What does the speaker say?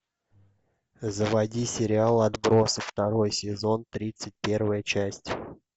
заводи сериал отбросы второй сезон тридцать первая часть